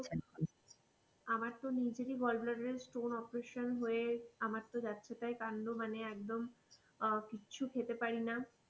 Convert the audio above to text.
আমার তো নিজের gallbladder stone operation হয়ে আমার তো যাচ্ছে তাই কান্ড মানে একদম আহ কিছু খেতে পারি না.